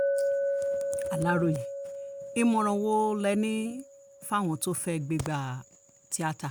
aláròye ìmọ̀ràn wo lẹ ní fáwọn tó fẹ́ẹ́ gbégbá tíátá